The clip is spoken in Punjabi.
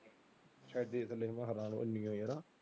ਛੱਡ ਦੇ ਥਲੇ ਹਵਾ ਇਹ ਹੈਨਾ।